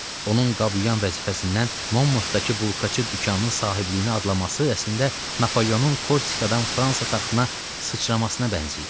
Onun qab-yuyan vəzifəsindən Momurdakı bulkaçı dükanının sahibliyinə adlaması əslində Napoleonun Korsikadan Fransa taxtına sıçramasına bənzəyir.